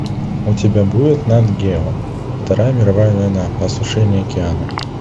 у тебя будет нат гео вторая мировая война осушение океана